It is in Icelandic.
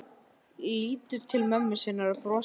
Lítur til mömmu sinnar og brosir daufu brosi.